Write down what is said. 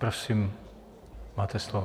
Prosím, máte slovo.